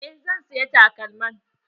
Eh zan siya takalman.